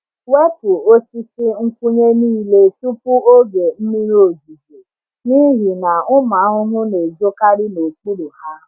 Wepu osisi nkwụnye niile tupu oge mmiri ozuzo n’ihi na ụmụ ahụhụ na-ezokarị n’okpuru ha.